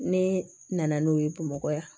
Ne nana n'o ye bamakɔ yan